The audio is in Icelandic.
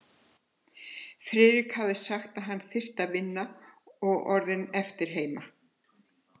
Friðrik hafði sagt, að hann þyrfti að vinna, og orðið eftir heima.